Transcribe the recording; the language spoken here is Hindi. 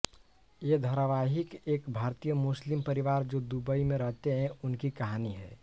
ये धारावाहिक एक भारतीय मुस्लिम परिवार जो दुबई में रहते है उनकी कहानी है